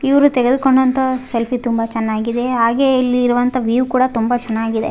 ಇವರು ತೆಗೆದುಕೊಂಡಂತ ಸೆಲ್ಫಿ ತುಂಬ ಚೆನ್ನಾಗಿದೆ ಹಾಗೆ ಇಲ್ಲಿ ಇರುವಂತ ವೀವ್ ಕೂಡ ತುಂಬ ಚೆನ್ನಾಗಿದೆ.